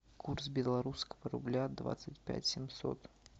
курс белорусского рубля двадцать пять семьсот